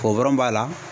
b'a la